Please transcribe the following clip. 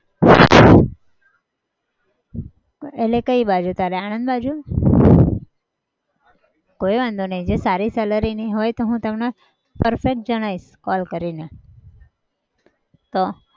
એટલે કઈ બાજુ તારે આણંદ બાજુ? કઈ વાંધો નહિ જો સારી salary ની હોય તો હું તમને perfect જણાવીશ call કરીને. તો